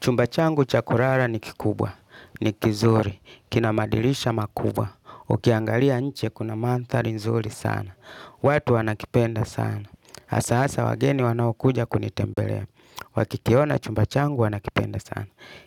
Chumba changu cha kurara ni kikubwa, ni kizuri, kina madilisha makubwa. Ukiangalia nje kuna mandhari nzuri sana, watu wanakipenda sana, hasa hasa wageni wanaokuja kunitembelea, wakikiona chumba changu wanakipenda sana.